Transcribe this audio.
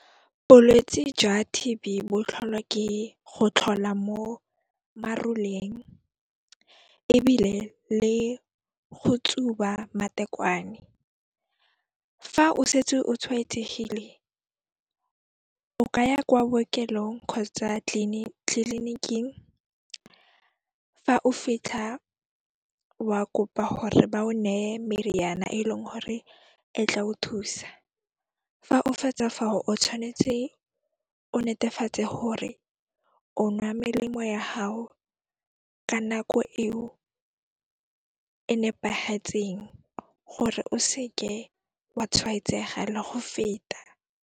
Bolwetsi jwa T_B bo tlholwa ke go tlhola mo maroleng ebile le go tsuba matekwane. Fa o setse o tshwaetsegile, o ka ya kwa bookelong kgotsa tliliniking, fa o fitlha wa kopa gore ba o neye meriana e leng gore e tla o thusa. Fa o fetsa fao o tshwanetse o netefatse gore o nwa melemo ya hao ka nako eo e nepagetseng gore o seke wa tshwaetsega le go feta.